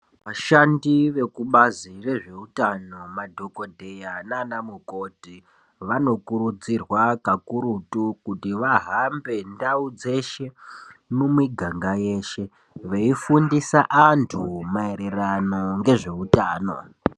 Vashandi vekubazi rezveutano, madhokodheya naanamukoti, vanokurudzirwa kakurutu kuti vahambe ndau dzeshe, mumiganga yeshe, veifundisa antu, maererano ngezveutano.